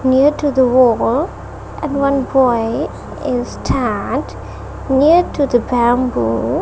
near to the wall and one boy is near to the bamboo.